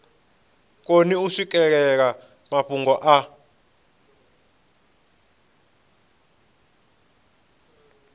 koni u swikelela mafhungo a